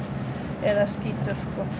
eða skítur